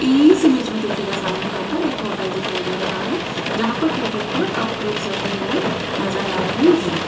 इस इमेज में देखिएगा सामने यहां पर एक होटल दिखाई दे रहा है जहां पर टेबल पर कप प्लेट्स रखे हुए नजर आ रहे हैं।